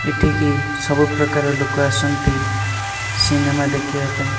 ଏଠିକି ସବୁ ପ୍ରକାରର ଲୋକ ଆସନ୍ତି ସିନେମା ଦେଖିବା ପାଇଁ।